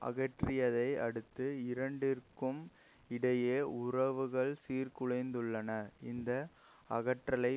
அகற்றியதை அடுத்து இரண்டிற்கும் இடையே உறவுகள் சீர்குலைந்துள்ளன இந்த அகற்றலை